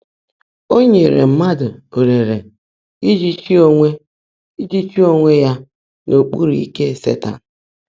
Ó nyèèré mmádụ́ ólèèré íjí chị́ óńwé íjí chị́ óńwé yá n’ọ́kpụ́rụ́ íkè Sétan.